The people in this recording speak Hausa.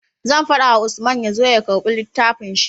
Zan fada wa Usman yazo ya karbi littafin shi